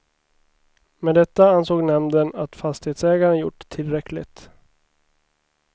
Med detta ansåg nämnden att fastighetsägaren gjort tillräckligt.